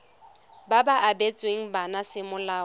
ba ba abetsweng bana semolao